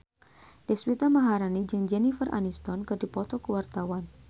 Deswita Maharani jeung Jennifer Aniston keur dipoto ku wartawan